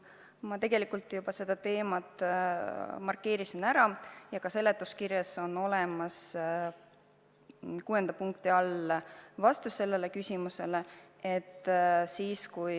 Ma tegelikult juba seda teemat puudutasin ja ka seletuskirjas on kuuenda punkti all olemas vastus sellele küsimusele.